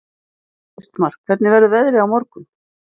Austmar, hvernig verður veðrið á morgun?